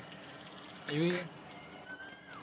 એવી હેં?